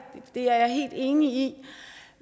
det er jeg helt enig i